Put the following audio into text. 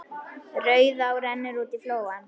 Rauðá rennur út í flóann.